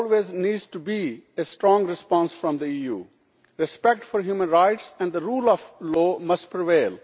There always needs to be a strong response from the EU, and respect for human rights and the rule of law must prevail.